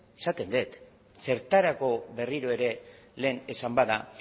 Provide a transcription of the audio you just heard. esaten dut zertarako berriro ere lehen esan bada